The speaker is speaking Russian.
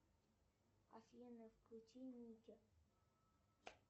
афина включи мультик